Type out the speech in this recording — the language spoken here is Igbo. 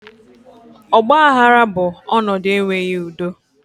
Ọgbaghara bụ ọnọdụ enweghị udo